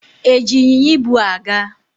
E ji ịnyịnya ibu a gaa?